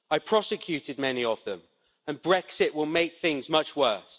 I prosecuted many of them, and Brexit will make things much worse.